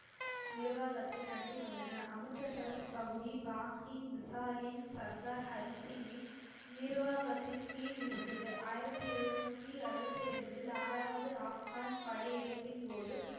நிர்வாகத்தை நடத்தி வந்தன அமிர்தசரஸ் பகுதி பாகின் மிசாலின் சர்தார் ஹரி சிங்கின் நிர்வாகத்தின் கீழ் இருந்தது ஆயிரத்தி எழுநூத்தி அறுபத்தி இரண்டில் ஆறாவது ஆப் கான் படையெடுப்பின் போது